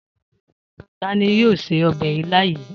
Ta ni yóò se ọbẹ̀ ilá yìí?